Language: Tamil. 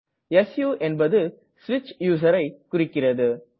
சு என்பது ஸ்விட்ச் Userஐ குறிக்கிறது